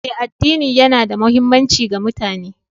Eh, addini yana da muhimmanci ga mutane